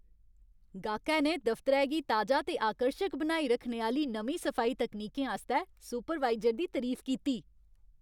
गाह्कै ने दफतरै गी ताजा ते आकर्शक बनाई रक्खने आह्‌ली नमीं सफाई तकनीकें आस्तै सुपरवाइजर दी तरीफ कीती।